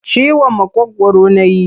Ciwon maƙogwaru na yi.